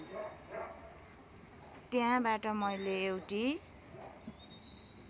त्यहाँबाट मैले एउटी